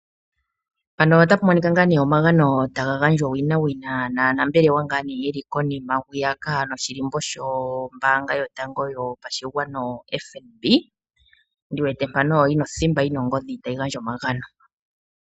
Mpano otapu monika ngaa nee omagano taga gandjwa owina naanambelewa ngaa nee yeli konima hwiyaka noshilimbo sho mbaanga yotango yopashigwana yo FNB, ndi wete mpako othimba yina ongodhi tayi gandja omagano.